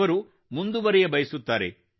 ಅವರು ಮುಂದುವರಿಯಬಯಸುತ್ತಾರೆ